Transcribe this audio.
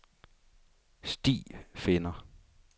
stifinder